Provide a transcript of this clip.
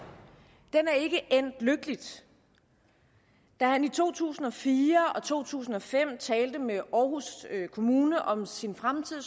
den er ikke endt lykkeligt da han i to tusind og fire og to tusind og fem talte med aarhus kommune om sin fremtid